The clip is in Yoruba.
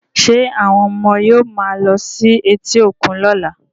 Ṣé àwọn ọmọ yóò máa lọ sí etí òkun lọ́la